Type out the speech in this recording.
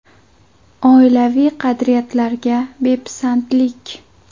Oilaviy qadriyatlarga bepisandlik.